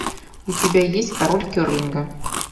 у тебя есть король керлинга